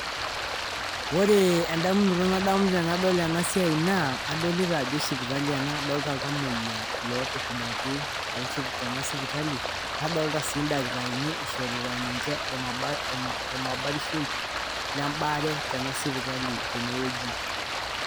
Ore endamunoto nadamu tenadol ena siai naa adolita ajo sipitali ena adolita iltamuoyia nadolita ildakitarini ishorita ninje olmabarishoi lembaare tena sipitali tene wueji